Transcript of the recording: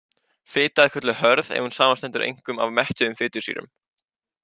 Fita er kölluð hörð ef hún samanstendur einkum af mettuðum fitusýrum.